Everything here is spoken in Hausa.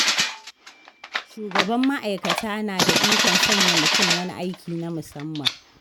Shugaban ma'aikata na da ikon sanya mutum wani aiki na musamman.